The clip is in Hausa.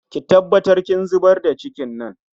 Ki tabbatar kin zubar da cikin nan